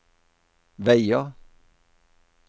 veier